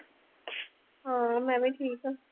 ਹਾਂ ਮੈਂ ਵੀ ਠੀਕ ਹਾਂ